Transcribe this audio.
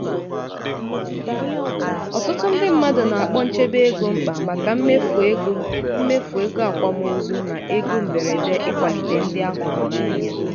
ọtụtụ ndị mmadụ na-akpọ nchebe ego mkpa maka mmefu ego mmefu ego akwamozu na ego mberede ịkwalite ndị a hụrụ n'anya.